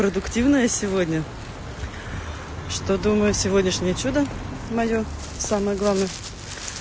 продуктивная сегодня что думаю сегодняшнее чудо моё самое главное